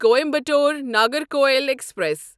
Coimbatore Nagercoil express